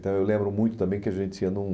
Então, eu lembro muito também que a gente ia num...